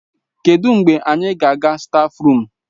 Kedụ mgbe anyị ga-aga stáfruum?